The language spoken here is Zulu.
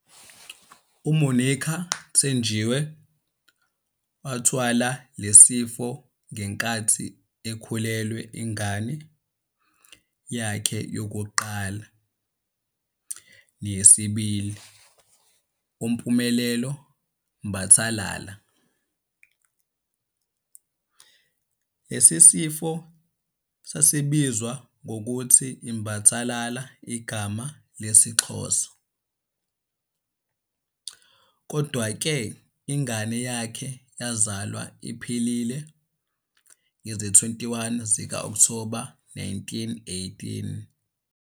UMonica thenjiwe wathla lesifo ngenkathi ekhulelwe ingane yakhe yokuqala neyesibili uNompumelelo Mbathalala. Lesisifo sasibizwa ngokuthi iMbathalala igama lesiXhosa, kodwa ke ingane yakhe yazalwa iphilile ngezi 21 zikaOkthoba 1918.